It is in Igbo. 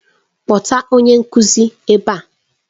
Kpọta onye nkuzi ebe a!